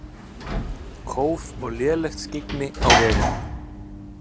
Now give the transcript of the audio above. Kóf og lélegt skyggni á vegum